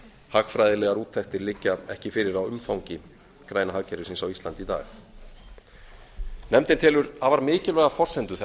hagfræðilegar úttektir liggja ekki fyrir á umfangi græna hagkerfisins á íslandi í dag nefndin telur afar mikilvæga forsendu þess að